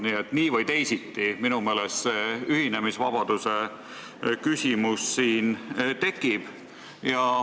Nii et nii või teisiti siin minu meelest see ühinemisvabaduse küsimus tekib.